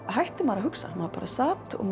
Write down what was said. hætti maður að hugsa maður bara sat og